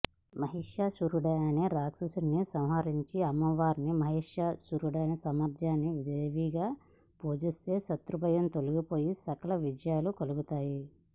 మహిషాసురుడనే రాక్షసుడిని సంహరించిన అమ్మను మహిషాసురమర్దినీదేవీగా పూజిస్తే శత్రుభయం తొలగిపోయి సకల విజయాలు కలుగుతాయి